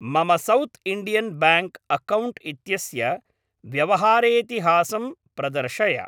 मम सौत् Indian bank account इत्यस्य व्यवहारेइतिहासं प्रदर्शय।